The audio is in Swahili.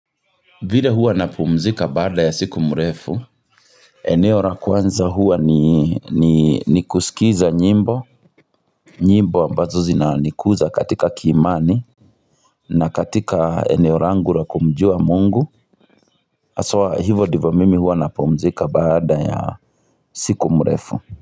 Vile huwa napumzika baada ya siku mrefu eneo la kwanza huwa ni ni ni kusikiza nyimbo nyimbo ambazo zinanikuza katika kiimani na katika eneo langu la kumjua Mungu haswa hivo ndivyo mimi huwa napumzika baada ya siku mrefu.